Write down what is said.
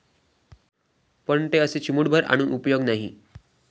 पण ते असे चिमुटभर आणून उपयोग नाही.